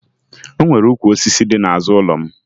O nwere ukwu osisi dị n'azụ ụlọ m